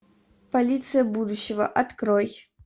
полиция будущего открой